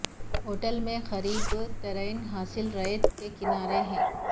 hotel میں قریب ترین ساحل ریت اور کنارے ہے